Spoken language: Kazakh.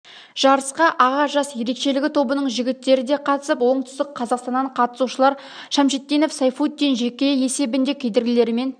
жарысқа аға жас ерекшелігі тобының жігіттері де қатысып оңтүстік қазақстаннан қатысушылар шамшитдинов сайфутдин жеке есебінде кедергілерімен